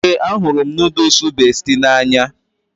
Ee, ahụrụ m nooduls Besti n'anya